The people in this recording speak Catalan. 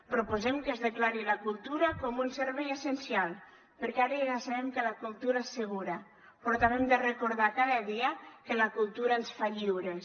proposem que es declari la cultura com un servei essencial perquè ara ja sabem que la cultura és segura però també hem de recordar cada dia que la cultura ens fa lliures